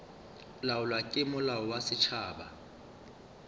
laolwa ke molao wa setšhaba